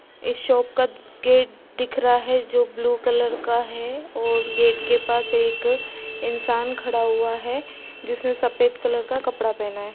ये शॉप का गेट दिख रहा है जो ब्लू कलर का है और गेट के पास एक इंसान खड़ा हुआ है जिसने सफ़ेद कलर का कपड़ा पहना है।